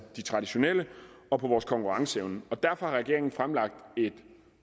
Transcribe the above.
de traditionelle og på vores konkurrenceevne og derfor har regeringen fremlagt et